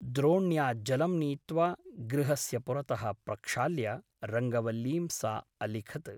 द्रोण्या जलं नीत्वा गृहस्य पुरतः प्रक्षाल्य रङ्गवल्लीं सा अलिखत् ।